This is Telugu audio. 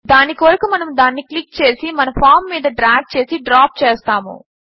దాని కొరకు మనము దానిని క్లిక్ చేసి మన ఫామ్ మీద డ్రాగ్ చేసి డ్రాప్ చేస్తాము